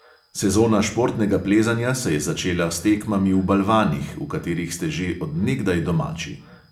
Sezona športnega plezanja se je začela s tekmami v balvanih, v katerih ste že od nekdaj domači.